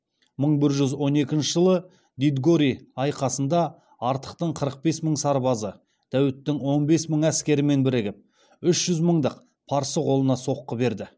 мың бір жүз он екініші жылы дидгори айқасында артықтың қырық бес мың сарбазы дәуіттің он бес мың әскерімен бірігіп үш жүз мыңдық парсы қолына соққы берді